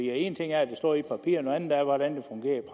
en ting er at det står i papirerne noget andet er hvordan